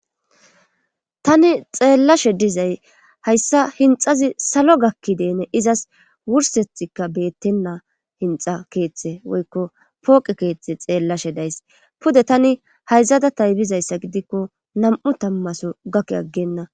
Tani xeellashe dizay hayssa hinxazi salo gakkideene izas wursethikka beettenna hinxa keeththe woykko pooqe keeththe xeellashe days pude tani hayzada taybizayssa gidikko nam7u tammaso gakk aggenna